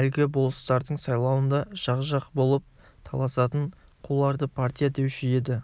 әлгі болыстардың сайлауында жақ-жақ болып таласатын қуларды партия деуші еді